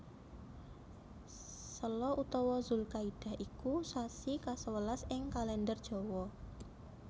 Sela utawa Dzulkaidah iku sasi kasewelas ing Kalèndher Jawa